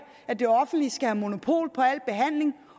at det offentlige skal have monopol på al behandling